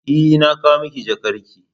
E, na kawo maki jakarki ne.